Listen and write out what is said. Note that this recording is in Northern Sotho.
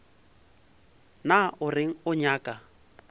na o reng o nyaka